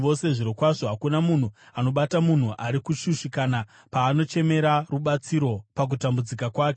“Zvirokwazvo, hakuna munhu anobata munhu ari kushushikana paanochemera rubatsiro pakutambudzika kwake.